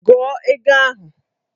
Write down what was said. Gụọ ego ahụ!